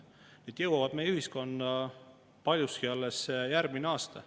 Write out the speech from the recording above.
Kõik need maksutõusud pole tegelikult meie ühiskonda veel üldse jõudnudki, need jõuavad paljuski alles järgmisel aastal.